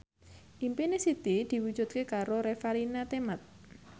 impine Siti diwujudke karo Revalina Temat